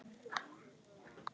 Það er ekki lengra síðan!